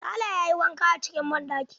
Sale ya yi wanka acikin banɗaki.